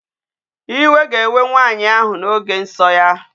Iwe ga-ewe nwanyị ahụ n'oge nsọ ya.